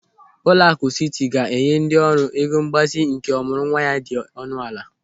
Ụlọakụ Siti ga-enye ndị ọrụ ego mgbazinye nke ọmụrụnwa ya dị ọnụ ala.